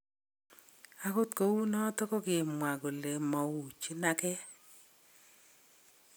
Agot kouunoton kogimwaa kole mouchin agee.